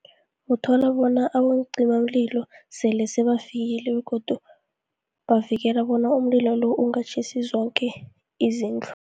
Uthola bona abonciimamlilo, sele sebafikile, begodu bavikela bona umlilo lo, ungatjhisi zoke izindlu.